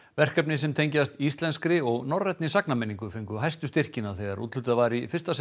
verkefni sem tengjast íslenskri og norrænni fengu hæstu styrkina þegar úthlutað var í fyrsta sinn